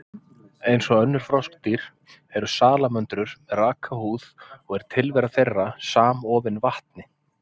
Eins og önnur froskdýr, eru salamöndrur með raka húð og er tilvera þeirra samofin vatni.